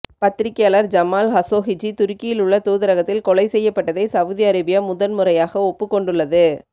பத்திரிகையாளர் ஜமால் கஷோகிஜி துருக்கியில் உள்ள தூதரகத்தில் கொலை செய்யப்பட்டதை சவுதி அரேபியா முதன் முறையாக ஒப்புக்கொண்டுள்ளது